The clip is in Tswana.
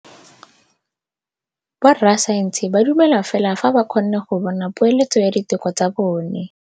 Borra saense ba dumela fela fa ba kgonne go bona poeletsô ya diteko tsa bone.